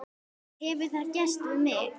Hefur það gerst við mig?